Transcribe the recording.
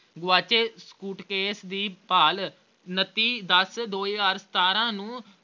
ਗੁਆਚੇ suitcase ਦੀ ਭਾਲ ਉੱਨਤੀ ਦਸ ਦੋ ਹਜ਼ਾਰ ਸਤਾਰਾਂ ਨੂੰ